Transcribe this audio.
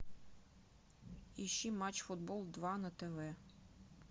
ищи матч футбол два на тв